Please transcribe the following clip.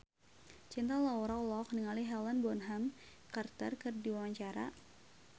Cinta Laura olohok ningali Helena Bonham Carter keur diwawancara